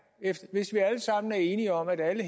hvis vi alle sammen er enige om at alle